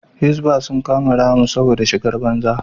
Hisbah sun kama Rahma saboda shigar banza